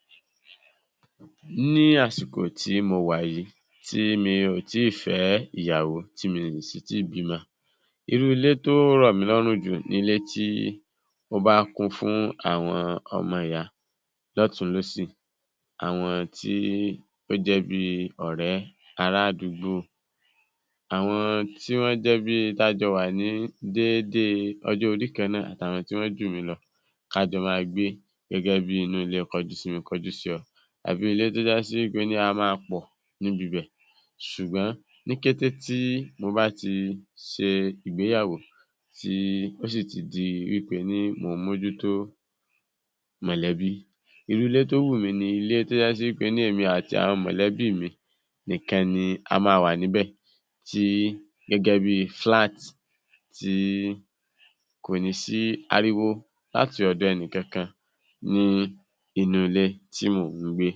00924 Ní àsìkò tí mo wà yìí tí mi ò tíì fé̩ ìyàwó tí mi ò sì tíì bímó̩, irú ilé tí ó rò̩ mí ló̩rùn jù ni ilé tí ó bá kún fún àwo̩n o̩mo̩ ìyà ló̩tùn-ún-lósì, àwo̩n tí ó jé̩ bi ò̩ré̩, ará àdúgbò, àwo̩n tí wó̩n jé̩ bi a jo̩ wà ní déédé o̩jó̩ orí kan náà àti àwo̩n tí wọ́n jù mí lo̩ kí a jo̩ máa gé̩gẹ́ bi inú ilé ko̩jú-sí-mi-kí-n-ko̩jú-sí-o̩ àbí tí ó jásí pé a máa pò̩ níbi ibè̩ s̩ùgbó̩n ní kété tí mo ba ti s̩e ìgbéyàwó ti ó sì ti di ní tèmi mo ń mójútó mò̩lé̩bí, irú ilé tó wù mí ni irú ilé tí ó s̩e pé èmi àti àwo̩n mò̩lé̩bí mi nìkan ni a máa wà níbè̩ tí gé̩gé̩ bíi flat tí kò ní sí ariwo láti ò̩do̩ e̩ni kankan ní inú ilé tí mò ń gbé.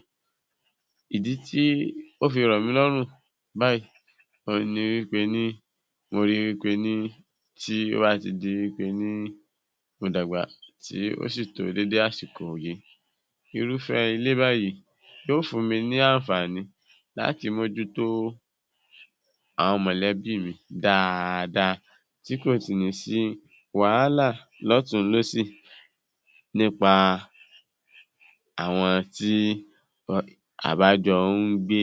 Ìdi ́tí ó fi rò̩ mí ló̩rùn báyìí òhun ni pe ní òhun ni pe ní tí ó bá ti di wí pe ní o dàgbà ó sì dé dédé àsìkò yìí, irúfé̩ ilé báyìí yóó fún mi ní àǹfààní láti mójútó àwo̩n mò̩lé̩bí mi dáadáa tí kò sì nị́ sí wàhálà ló̩tùn-ún-lósì nípa àwo̩n tí a bá jo̩ ń gbé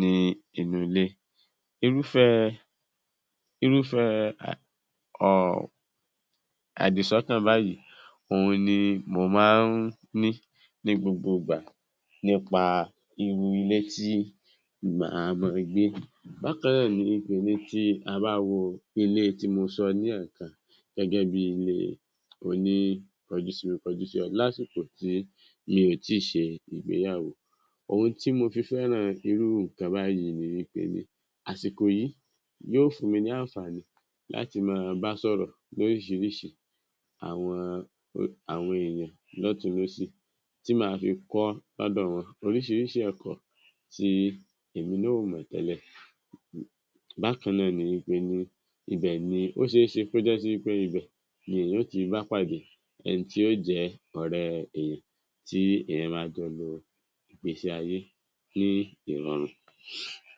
ní inú ilé. Irúfé irúfé̩ o àdìsó̩kàn báyìí òhun ni mo máa ń ní gbogbo ìgbà nípa irú ilé tí màá máa gbé. Bákan náà ni ilé ti tá bá wo ilé tí mo so̩ lé̩è̩kan gé̩gé̩ bi ilé oní ko̩jú-sí-mi-kí-n-ko̩jú-sí-o̩ lásìkò tí n ò tíì s̩e ìgbéyàwó, ohun tí mo fi fé̩ràn irú nǹkan báyìí ni wí pé àsìkò yìí yóó fún mi ní àǹfààní láti máa bá sò̩rò̩ lórís̩irís̩i àwo̩n èèyàn ló̩tùn-ún-lósì tí màá fi kó̩ ló̩dò̩ wo̩n orís̩irís̩i ò̩pò̩ tí èmi náà ò mò̩ té̩lè̩. Bákan náà ni wí pé, ibè̩ ni ó s̩e é s̩e kí ó jé̩ pé ibè̩ ní o ti bá pàdé e̩ni tí yóó jé̩ ò̩ré̩e̩ rè̩ tí èèyàn máa jo̩ lo ìgbésí-ayé ní ìrò̩rùn